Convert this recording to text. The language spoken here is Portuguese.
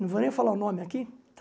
Não vou nem falar o nome aqui, tá?